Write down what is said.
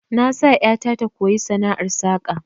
Na sa ƴata ta koyi sana'ar saka